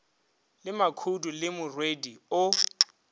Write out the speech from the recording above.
le makhudu le morwedi o